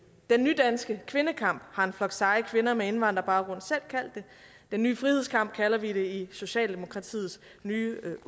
den nydanske kvindekamp har en flok seje kvinder med indvandrerbaggrund selv kaldt det den nye frihedskamp kalder vi det i socialdemokratiets nye